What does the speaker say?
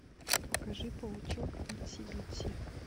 покажи паучок итси битси